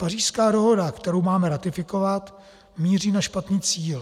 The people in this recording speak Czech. Pařížská dohoda, kterou máme ratifikovat, míří na špatný cíl.